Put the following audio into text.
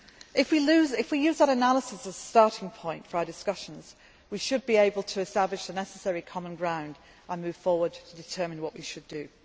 If we use that analysis as the starting point for our discussions, we should be able to establish the necessary common ground and move forward to determine what we should